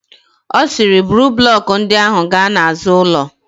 Ọ sịrị, buru blọkụ ndị ahụ gaa n'azụ ụlọ.